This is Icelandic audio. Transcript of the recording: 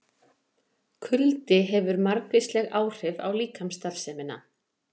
Kuldi hefur margvísleg áhrif á líkamsstarfsemina.